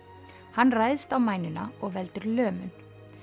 hann ræðst á og veldur lömun